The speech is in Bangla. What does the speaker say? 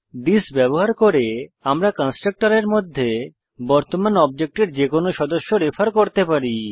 থিস ব্যবহার করে আমরা কন্সট্রকটরের মধ্যে বর্তমান অবজেক্টের যেকোনো সদস্য রেফার করতে পারি